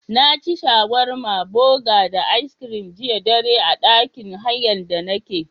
Naci shawarma buga da aiskirin jiya dare a ɗakin hayan da nake.